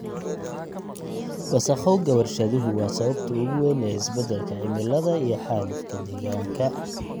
Wasakhowga warshaduhu waa sababta ugu weyn ee isbeddelka cimilada iyo xaalufka deegaanka.